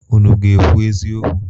Unu ga-ekwu eziokwu?